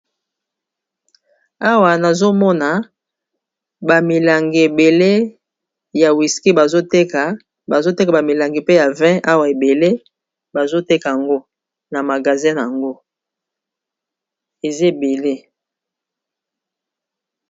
Awa nazomona bamilangi ebele ya whiski bazoteka bazoteka bamilangi mpe ya 20 awa ebele bazoteka yango na magazine yango eza ebele.